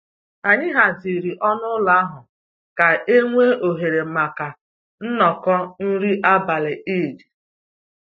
Anyị haziri ọnụ ụlọ ahụ ka e nwee ohere maka nnọkọ nri abalị Eid